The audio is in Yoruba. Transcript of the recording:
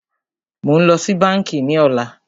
Mó ń lọ sí bánkì ní ọ̀lá.